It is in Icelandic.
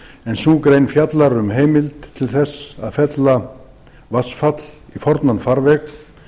en sú grein fjallar um heimild til að fella vatnsfall í fornan farveg